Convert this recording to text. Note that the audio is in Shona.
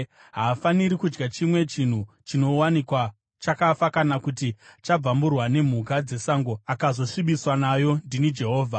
Haafaniri kudya chimwe chinhu chinowanikwa chakafa kana kuti chabvamburwa nemhuka dzesango, akazosvibiswa nayo. Ndini Jehovha.